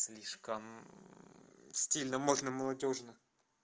слишком стильно модно молодёжно